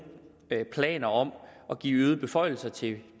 planer om at give øgede beføjelser til